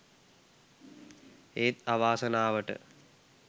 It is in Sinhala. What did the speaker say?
ඒත් අවාසනාවට